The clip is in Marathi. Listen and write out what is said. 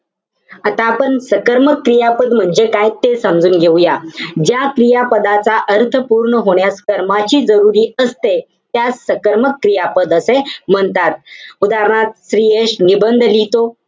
आता आपण सकर्मक क्रियापद म्हणजे काय ते समजून घेऊया. ज्या क्रियापदाच्या अर्थ पूर्ण होण्यास कर्माची जरुरी असते. त्यास सकर्मक क्रियापद असे म्हणतात. उदाहरणार्थ, श्रीयश निबंध लिहितो.